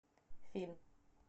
фильм